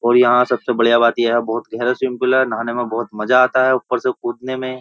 और यहां सबसे बढ़िया बात ये है बोहोत गहरा स्विमिंग पूल है। नहाने में बहुत मजा आता है ऊपर से कूदने में --